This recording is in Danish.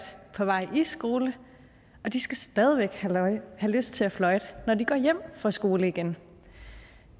på vej skole og de skal stadig væk have lyst til at fløjte når de går hjem fra skole igen